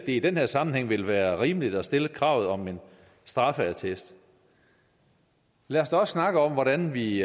i den her sammenhæng vil være rimeligt at stille kravet om en straffeattest lad os da også snakke om hvordan vi